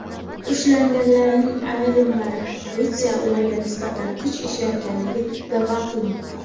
Ushlanganlarning ayrimlari politsiya ularga nisbatan kuch ishlatganini da’vo qilmoqda.